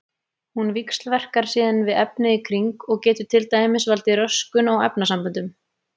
Hún víxlverkar síðan við efnið í kring og getur til dæmis valdið röskun á efnasamböndum.